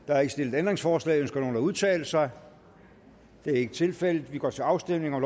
der er ikke stillet ændringsforslag ønsker nogen at udtale sig det er ikke tilfældet og vi går til afstemning